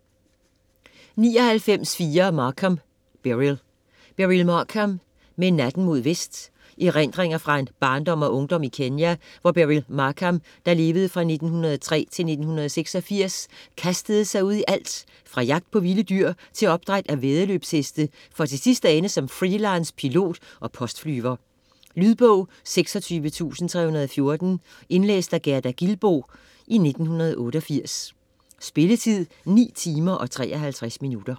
99.4 Markham, Beryl Markham, Beryl: Med natten mod vest Erindringer fra en barndom og ungdom i Kenya, hvor Beryl Markham (1903-1986) kastede sig ud i alt - fra jagt på vilde dyr til opdræt af væddeløbsheste for til sidst at ende som free-lance pilot og postflyver. Lydbog 26314 Indlæst af Gerda Gilboe, 1988. Spilletid: 9 timer, 53 minutter.